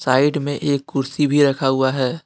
Side में एक कुर्सी भी रखा हुआ है।